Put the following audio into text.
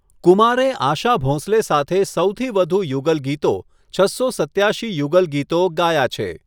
કુમારે આશા ભોંસલે સાથે સૌથી વધુ યુગલ ગીતો, છસો સત્યાશી યુગલ ગીતો, ગાયા છે.